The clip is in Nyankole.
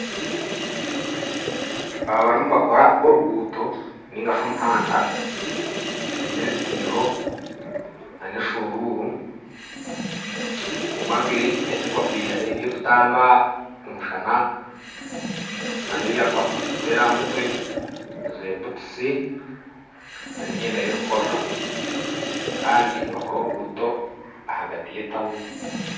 Aba bariyo nibakoora omuhanda gw'ahaagati y'etauni baine ebitaiho n'eshuururu, omwe anjwire helemeti na butuusi n'emyenda y'okukoreramu